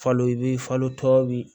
Falo i bi falo tɔ bi